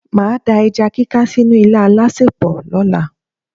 Màá da ẹja kíká sínú ilá alásèpò lọ́la.